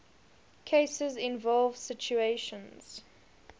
cases involve situations